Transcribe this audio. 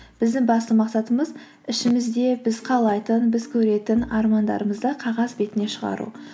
біздің басты мақсатымыз ішімізде біз қалайтын біз көретін армандарымызды қағаз бетіне шығару